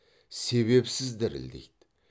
себепсіз дірілдейді